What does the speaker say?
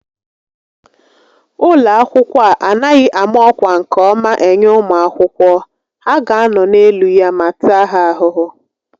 Ụlọ akwụkwọ a anaghị ámá ọkwá nke ọma enye ụmụ akwụkwọ, ha ga anọ n'elu ya ma taa ha ahụhụ